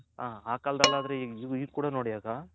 ಹ ಆ ಕಾಲ್ದಲ್ ಆದ್ರೆ ಆಗ